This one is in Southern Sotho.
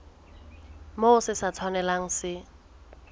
moo se sa tshwanelang se